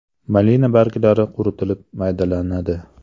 Malina barglari quritilib maydalanadi.